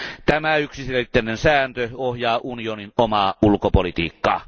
Tämä yksiselitteinen sääntö ohjaa unionin omaa ulkopolitiikkaa.